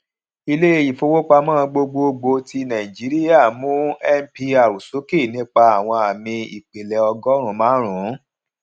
ilé ìfowópamọ gbogbogbò ti nàìjíríà mú mpr sókè nípa àwọn ámì ìpìlẹ ọgọrun márùnún